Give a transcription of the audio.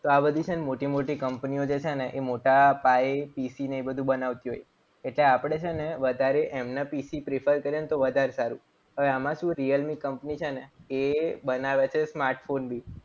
તો આ બધી છે ને મોટી મોટી કંપનીઓ જે છે ને એ મોટા ભાઈ PC ને એ બધું બનાવતી હોય. એટલે આપણે છે ને વધારે એમને પી prefer કરીએ તો વધારે સારું. હવે આમાં શું? realme કંપની છે ને એ બનાવે છે smartphone બી.